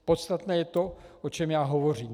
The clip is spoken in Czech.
Podstatné je to, o čem já hovořím.